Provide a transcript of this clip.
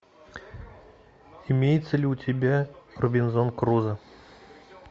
имеется ли у тебя робинзон крузо